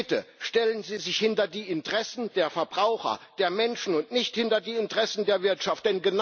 Bitte stellen Sie sich hinter die Interessen der Verbraucher, der Menschen, und nicht hinter die Interessen der Wirtschaft.